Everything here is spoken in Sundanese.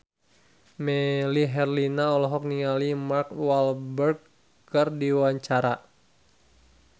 Melly Herlina olohok ningali Mark Walberg keur diwawancara